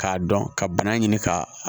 K'a dɔn ka bana ɲini ka